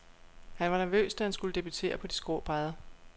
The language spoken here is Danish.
Han var nervøs, da han skulle debutere på de skrå brædder.